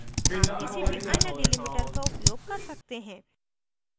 आप किसी भी any delimiter का उपयोग कर सकते हैं